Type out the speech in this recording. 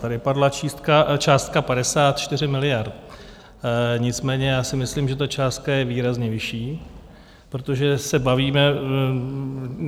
Tady padla částka 54 miliard, nicméně já si myslím, že ta částka je výrazně vyšší, protože se bavíme...